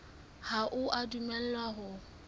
ha o a dumellwa ho